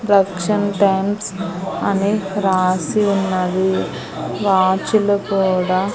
దక్షన్ fans అని రాసి ఉన్నది వాచ్చులు కూడా--